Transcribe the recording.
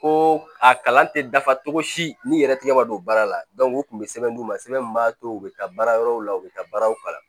Ko a kalan tɛ dafa cogo si ni yɛrɛ tigɛ ma don baara la u tun bɛ sɛbɛn d'u ma sɛbɛn min b'a to u bɛ taa baara yɔrɔw la u bɛ taa baaraw kalan